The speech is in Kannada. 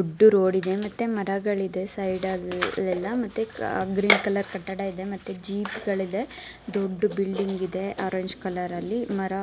ದೊಡ್ಡ ರೋಡ್ ಇದೆ ಮತ್ತೆ ಮರಗಳಿವೆ ಸೈಡಲೆಲ್ಲಾ ಮತ್ತೆ ಗ್ರೀನ್ ಕಲರ್ ಕಟ್ಟಡ ಇದೆ ಮತ್ತೆ ಜೀಬ್ಗಳಿದೆ ದೊಡ್ಡ ಬಿಲ್ಡಿಂಗ ಇದೆ ಆರೆಂಜ್ ಕಾಲರಲ್ಲಿ ಮರ